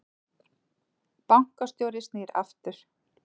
Bankastjóri snýr aftur